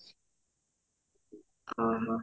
ଓଃ ହୋ